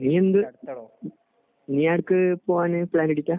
നീ എന്ത് നീ എവിടേക്ക് പോകാൻ പ്ലാൻ ഇടലാണ്?